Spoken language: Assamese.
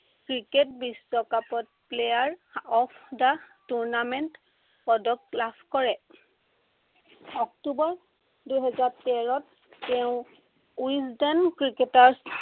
ক্ৰিকেট বিশ্বকাপত player of the tournament পদক লাভ কৰে। অক্টোৱৰ দুহেজাৰ তেৰত তেওঁ ৱিছদেন ক্ৰিকেটত